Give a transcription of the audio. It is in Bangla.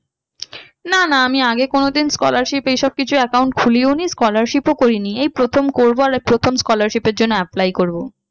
না না আমি আগে কোনোদিন scholarship এইসব কিছু account খুলিওনি scholarship ও করিনি এই প্রথম করবো আর প্রথম scholarship এর জন্য apply করবো।